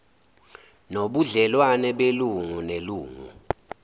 nobudlelwano belungu nelungu